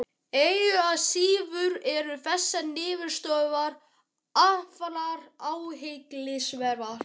Engu að síður eru þessar niðurstöður afar athyglisverðar.